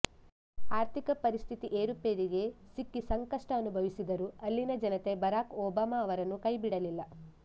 ಆರ್ಥಿಕ ಪರಿಸ್ಥಿತಿ ಏರುಪೇರಿಗೆ ಸಿಕ್ಕಿ ಸಂಕಷ್ಟ ಅನುಭವಿಸಿದರೂ ಅಲ್ಲಿನ ಜನತೆ ಬರಾಕ್ ಒಬಾಮಾ ಅವರನ್ನು ಕೈ ಬಿಡಲಿಲ್ಲ